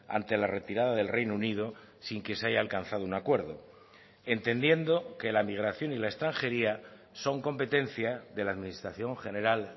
ante la retirada del reino unido sin que se haya alcanzado un acuerdo entendiendo que la migración y la extranjería son competencia de la administración general